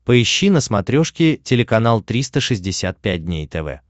поищи на смотрешке телеканал триста шестьдесят пять дней тв